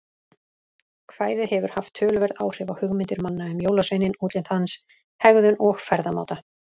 Kvæðið hefur haft töluverð áhrif á hugmyndir manna um jólasveininn, útlit hans, hegðun og ferðamáta.